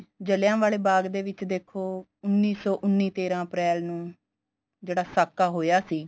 ਜਲ੍ਹਿਆਂਵਾਲੇ ਬਾਗ ਦੇ ਵਿੱਚ ਦੇਖੋ ਉੰਨੀ ਸੋ ਉੰਨੀ ਤੇਰ੍ਹਾਂ ਅਪ੍ਰੇਲ ਨੂੰ ਜਿਹੜਾ ਸਾਕਾ ਹੋਇਆ ਸੀ